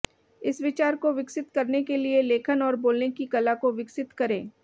इस विचार को विकसित करने के लिए लेखन और बोलने की कला को विकसित करें